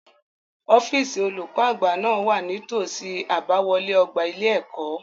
Ọ́fíìsì olùkó àgbà náà wà ní tòsí àbáwọlé ọgbà ilé-ẹ̀kọ́.